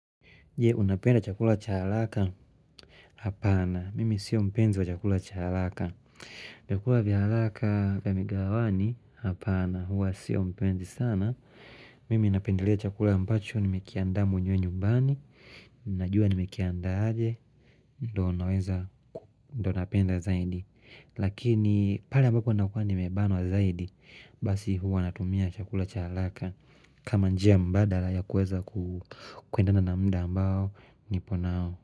Je unapenda chakula cha haraka Hapana, mimi sio mpenzi wa chakula cha haraka vyakula vya haraka vya mgahawani hapana huwa sio mpenzi sana Mimi napendelea chakula ambacho Nimekiandaa mwenyewe nyumbani Najua nimekianda aje ndo napenda zaidi Lakini pale ambapo nakuwa nimebanwa zaidi Basi hua natumia chakula cha haraka kama njia mbadala ya kuweza kuendana munda ambao Niponao.